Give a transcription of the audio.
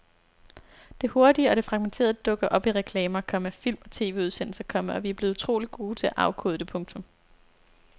Det hurtige og det fragmenterede dukker op i reklamer, komma film og TVudsendelser, komma og vi er blevet utroligt gode til at afkode det. punktum